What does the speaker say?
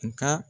Nka